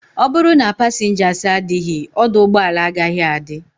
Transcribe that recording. Oburu na passengers adighi, oduugboala agaghi adi